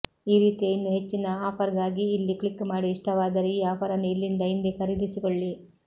ಈ ರೀತಿಯ ಇನ್ನು ಹೆಚ್ಚಿನ ಆಫರ್ಗಾಗಿ ಇಲ್ಲಿ ಕ್ಲಿಕ್ ಮಾಡಿ ಇಷ್ಟವಾದರೆ ಈ ಆಫರನ್ನು ಇಲ್ಲಿಂದ ಇಂದೇ ಖರೀದಿಸಿಕೊಳ್ಳಿ